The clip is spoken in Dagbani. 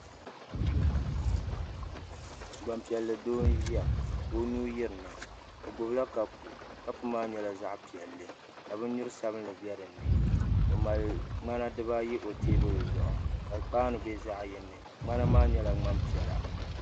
Gbanpiɛlli doo n ʒiya ka o nuu yirina o gbubila kapu kapu maa nyɛla zaɣ piɛlli ka binyuri sabinli bɛ dinni o mali ŋmana dibaayi o teebuli zuɣu ka paanu bɛ zaɣ yini ni ŋmana maa nyɛla ŋmani piɛla